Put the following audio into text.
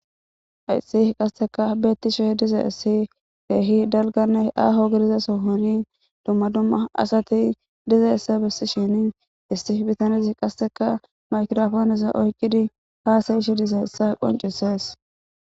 ayssi qasteka beettisho diza issi keehi dalganne aaho gidiza sohoni dumma dumma asati diza essa bessishin isti bitanzi qasteka maykirafoonesa oykidi haasa ishe diza issa qoncisees